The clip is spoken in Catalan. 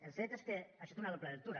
el fet és que això té una doble lectura